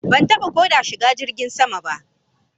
Ban taba ko da shiga jirgin sama ba